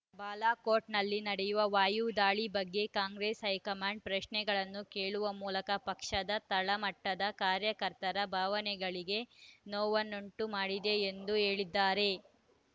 ಬಾಲಕೋಟ್ ನಲ್ಲಿ ನಡೆದ ವಾಯು ದಾಳಿ ಬಗ್ಗೆ ಕಾಂಗ್ರೆಸ್ ಹೈಕಮಾಂಡ್ ಪ್ರಶ್ನೆಗಳನ್ನು ಕೇಳುವ ಮೂಲಕ ಪಕ್ಷದ ತಳ ಮಟ್ಟದ ಕಾರ್ಯಕರ್ತರ ಭಾವನೆಗಳಿಗೆ ನೋವುಂಟು ಮಾಡಿದೆ ಎಂದು ಹೇಳಿದ್ದಾರೆ